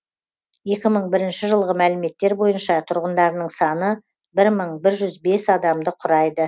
екі мың бірінші жылғы мәліметтер бойынша тұрғындарының саны бір мың бір жүз бес адамды құрайды